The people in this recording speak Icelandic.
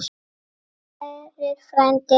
Hann Sverrir frændi er dáinn.